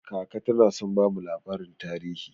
Kaka tana son bamu labarin tarihi.